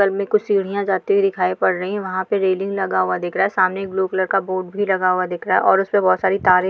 बगल में कुछ सीढियां जाती हुई दिखाई पड़ रही हैं वहाँ पे रैलिंग लगा हुआ दिख रहा है सामने एक ब्लू कलर का बोर्ड भी लगा हुआ दिख रहा है और उस पर बहुत सारी तारे --